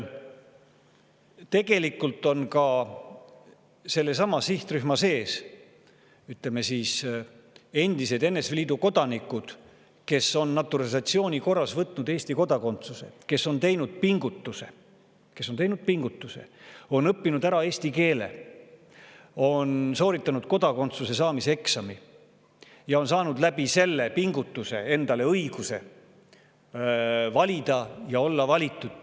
Tegelikult on ka sellesama sihtrühma sees endised NSV Liidu kodanikud, kes on naturalisatsiooni korras võtnud Eesti kodakondsuse, kes on teinud pingutuse ja õppinud ära eesti keele, on sooritanud kodakondsuse saamiseks eksami ja on saanud läbi selle pingutuse endale õiguse valida ja olla valitud.